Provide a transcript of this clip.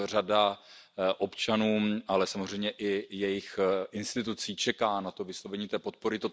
Řada občanů Ukrajiny, ale samozřejmě i jejích institucí čeká na vyslovení té podpory.